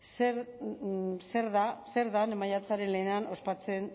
zer den maiatzaren lehenean ospatzen